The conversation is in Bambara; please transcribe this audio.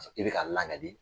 I bɛ ka langali.